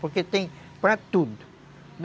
Porque tem para tudo.